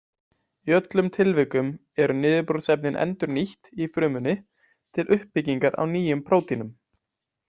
Í öllum tilvikum eru niðurbrotsefnin endurnýtt í frumunni til uppbyggingar á nýjum prótínum.